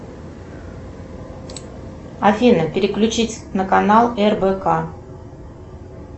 афина переключить на канал рбк